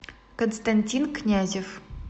константин князев